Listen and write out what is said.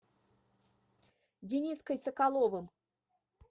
дениской соколовым